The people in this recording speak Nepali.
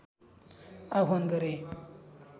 आह्वान गरे